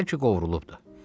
Bəlkə qovrulubdu.